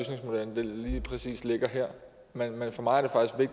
lige præcis ligger her men for mig